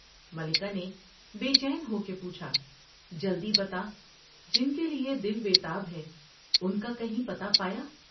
ملکہ نے بے چین ہو کے پوچھا جلدی بتا ، جن کے لیے دل بے تاب ہے ان کا کہیں پتہ پایا ؟